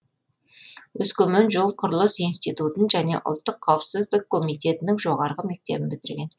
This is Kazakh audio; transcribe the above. өскемен жол құрылыс институтын және ұлттық қауіпсіздік комитетінің жоғарғы мектебін бітірген